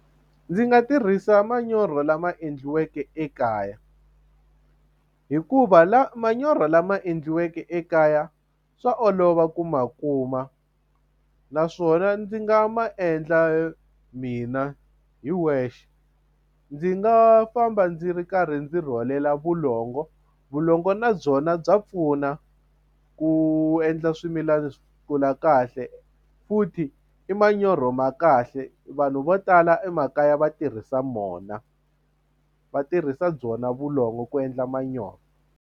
Ndzi nga tirhisa manyoro lama endliweke ekaya hikuva la manyoro lama endliweke ekaya swa olova ku ma kuma naswona ndzi nga ma endla mina hi wexe ndzi nga famba ndzi ri karhi ndzi rhwalela vulongo vulongo na byona bya pfuna ku endla swimilana swi kula kahle futhi i manyoro ma kahle vanhu vo tala emakaya va tirhisa mona va tirhisa byona vulongo ku endla manyoro.